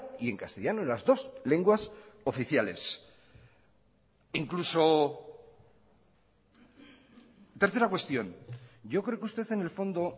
y en castellano en las dos lenguas oficiales incluso tercera cuestión yo creo que usted en el fondo